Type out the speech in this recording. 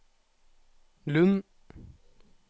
Lund